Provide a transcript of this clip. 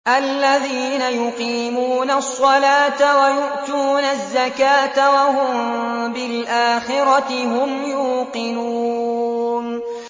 الَّذِينَ يُقِيمُونَ الصَّلَاةَ وَيُؤْتُونَ الزَّكَاةَ وَهُم بِالْآخِرَةِ هُمْ يُوقِنُونَ